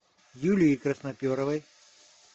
юлии красноперовой